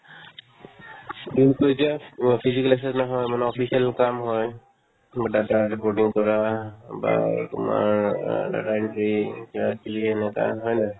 কিন্তু এতিয়া অ physical exercise নহয় মানে official কাম হয় তোমাৰ data reporting কৰা বা এই তোমাৰ আ data entry কিবাকিবি এনেকা হয় নাই